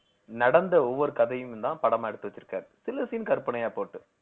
நடந்த ஒவ்வொரு கதையும் தான் படமா எடுத்து வச்சிருக்காரு சில scene கற்பனையா போட்டு